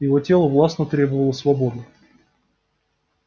его тело властно требовало свободы